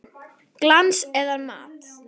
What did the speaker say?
Glans eða matt?